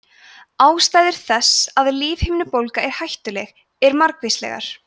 ástæður þess að lífhimnubólga er hættuleg eru margvíslegar